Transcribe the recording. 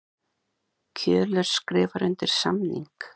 Kjölur skrifar undir samning